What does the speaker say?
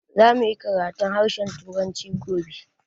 Za mu yi karatun harshen turanci gobe